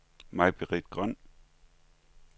Maibritt Grøn